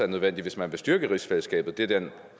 nødvendigt hvis man vil styrke rigsfællesskabet det er den